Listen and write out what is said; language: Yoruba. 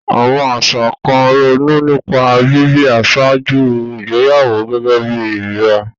Àwọn àṣà kan ronú nípa bíbí ṣáájú ìgbéyàwó gẹ́gẹ́ bí ìríra.